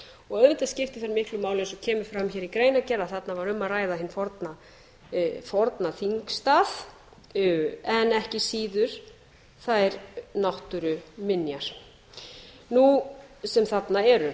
og auðvitað skiptir það miklu máli eins og kemur fram hér í greinargerð að þarna var um að ræða hinn forna þingstað en ekki síður þær náttúruminjar sem þarna eru